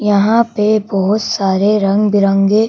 यहां पे बहुत सारे रंग-बिरंगे--